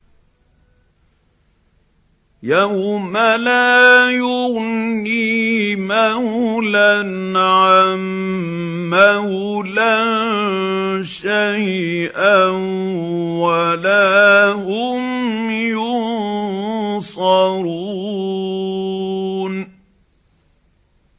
يَوْمَ لَا يُغْنِي مَوْلًى عَن مَّوْلًى شَيْئًا وَلَا هُمْ يُنصَرُونَ